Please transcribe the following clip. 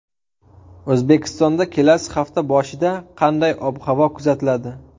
O‘zbekistonda kelasi hafta boshida qanday ob-havo kuzatiladi?.